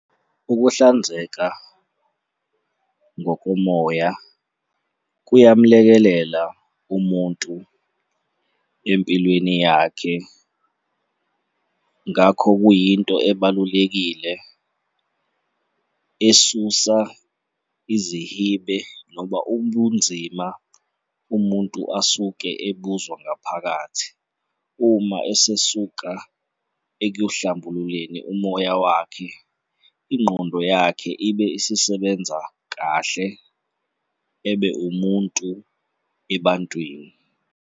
Ukuhlanzeka ngokomoya kuyamlekelela umuntu empilweni yakhe. Ngakho kuyinto ebalulekile esusa izihibe noma ubunzima umuntu asuke ebuzwa ngaphakathi uma esesuka ekuyohlambululeni umoya wakhe, ingqondo yakhe ibe isisebenza kahle, ebe umuntu ebantwini.